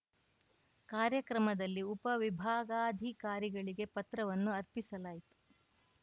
ಕಾರ್ಯಕ್ರಮದಲ್ಲಿ ಉಪವಿಭಾಗಾಧಿಕಾರಿಗಳಿಗೆ ಪತ್ರವನ್ನು ಅರ್ಪಿಸಲಾಯಿತು